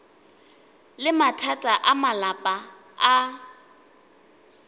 le mathata a malapa a